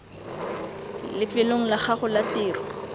lefelong la gago la tiro